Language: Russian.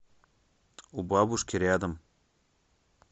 у бабушки рядом